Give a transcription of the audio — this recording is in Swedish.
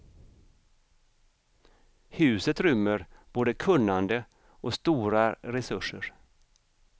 Huset rymmer både kunnande och stora resurser.